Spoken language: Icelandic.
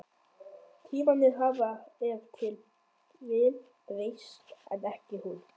Tímarnir hafa ef til vill breyst, en ekki hún.